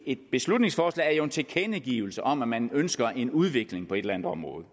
et beslutningsforslag jo en tilkendegivelse om at man ønsker en udvikling på et eller andet område